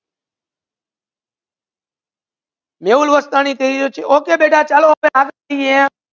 મેહુલ અરસાની કહે છે કે okay બેટા ચલો આપડે